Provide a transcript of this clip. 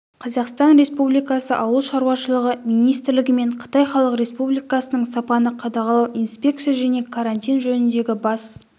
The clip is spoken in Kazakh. қазақстан республикасы ауыл шаруашылығы министрлігі мен қытай халық республикасының сапаны қадағалау инспекция және карантин жөніндегі бас